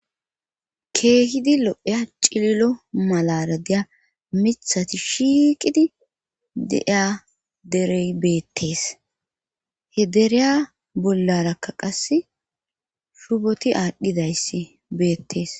keehidi lo7eya cililo malara deya mithati shiiqidi deiya derey beettees he dereya bollarakka qas shuboti aadhdhidayssi beettees